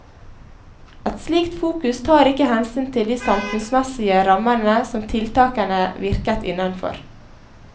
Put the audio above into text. Et slikt fokus tar ikke hensyn til de samfunnsmessige rammene som tiltakene virket innenfor.